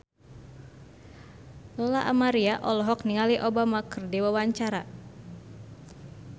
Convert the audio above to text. Lola Amaria olohok ningali Obama keur diwawancara